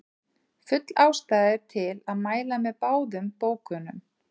Full ástæða er til að mæla með báðum bókunum.